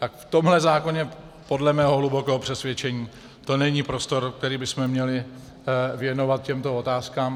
Tak v tomhle zákoně podle mého hlubokého přesvědčení to není prostor, který bychom měli věnovat těmto otázkám.